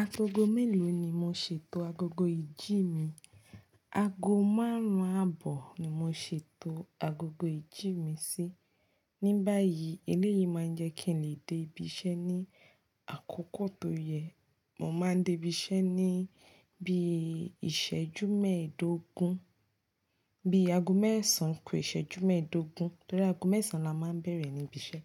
Agogo mélòó ni mo ṣètò agogo ìjí mi? Ago márùn-ún àbọ̀ ni mo ṣètò agogo ìjí mi sí. Ni báyìí, eléyìí máa ń jẹ́ kí n lè dé ibi iṣẹ́ ní àkókò tó yẹ. Mo máa ń dé ibi iṣẹ́ ní bí ìṣẹ́jú mẹ́ẹ̀dógún, bí ago mẹ́sàn kò ìṣẹ́jú mẹ́ẹ̀dógún. Torí ago mẹ́sàn la máa ń bẹ̀rẹ̀ ní ibi iṣẹ́.